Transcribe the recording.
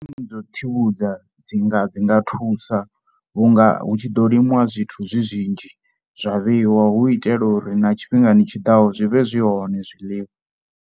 Sisiṱeme dza u tsivhudza dzi nga dzi nga thusa vhu nga hu tshi ḓo limiwa zwithu zwi zwinzhi zwa vheiwa hu itela uri na tshifhingani tshiḓaho zwi vhe zwi hone zwiḽiwa.